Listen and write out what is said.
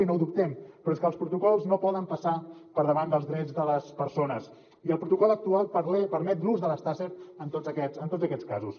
i no ho dubtem però és que els protocols no poden passar per davant dels drets de les persones i el protocol actual permet l’ús de les taser en tots aquests casos